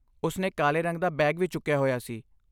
ਉਸ ਨੇ ਕਾਲੇ ਰੰਗ ਦਾ ਬੈਗ ਵੀ ਚੁੱਕਿਆ ਹੋਇਆ ਸੀ।